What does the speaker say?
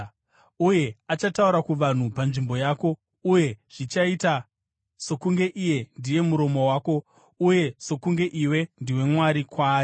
Uye achataura kuvanhu panzvimbo yako, uye zvichaita sokunge iye ndiye muromo wako uye sokunge iwe ndiwe Mwari kwaari.